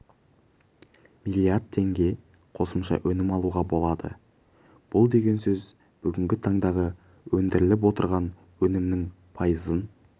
млрд теңге қосымша өнім алуға болады бұл деген сөз бүгінгі таңдағы өндіріліп отырған өнімнің пайызын